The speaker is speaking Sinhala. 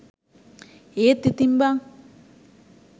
ඒත් ඉතින් බන්